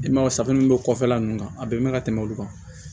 I man ye safunɛ bɛ kɔfɛla ninnu kan a bɛ mɛn ka tɛmɛ olu kan